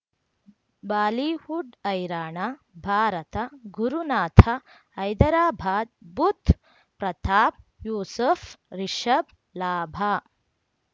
Bollywood ಹೈರಾಣ ಭಾರತ ಗುರುನಾಥ ಹೈದರಾಬಾದ್ ಬುಧ್ ಪ್ರತಾಪ್ ಯೂಸುಫ್ ರಿಷಬ್ ಲಾಭ